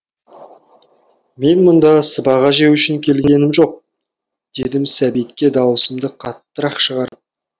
мен мұнда сыбаға жеу үшін келгенім жоқ дедім сәбитке дауысымды қаттырақ шығарып